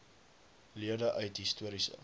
lede uit histories